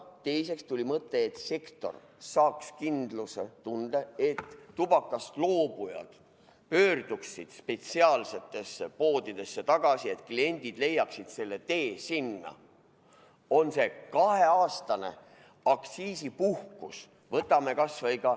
Teiseks tuli mõte, et sektor saaks kindlustunde, kui tubakast loobujad pöörduksid spetsiaalsetesse poodidesse tagasi, et kliendid leiaksid selle tee sinna, on see kaheaastane aktsiisipuhkus.